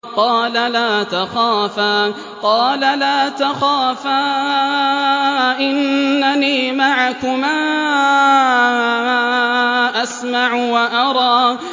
قَالَ لَا تَخَافَا ۖ إِنَّنِي مَعَكُمَا أَسْمَعُ وَأَرَىٰ